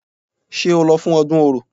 Ṣé o lọ fún ọdún Orò?